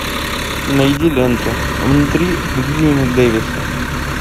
найди ленту внутри льюина дэвиса